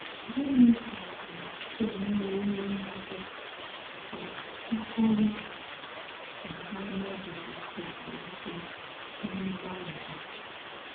Gịnị gàárà émèwòrì ǹdí à mà ọ bụ̀rụ̀ na hà ànògìdésìghì ìké ná mgbálí hà?